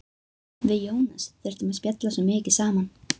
Við Jónas þurftum að spjalla svo mikið saman.